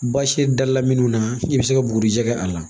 Basi dala minnu na i bɛ se ka bugurijɛ kɛ a la